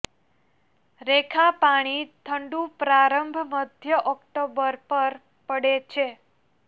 રેખા પાણી ઠંડું પ્રારંભ મધ્ય ઓક્ટોબર પર પડે છે